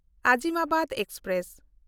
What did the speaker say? Azimabad express